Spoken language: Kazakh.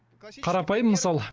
қарапайым мысал